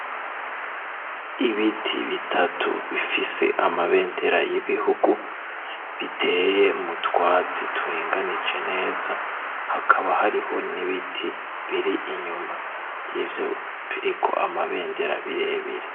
Ibiti bitatu bifise amabendera y'ibihugu biteye m'utwatsi turinganije neza hakaba hariho n'ibiti biri inyuma y'iyo biriko amabendera birebire.